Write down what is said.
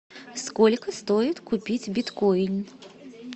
сколько стоит купить биткоин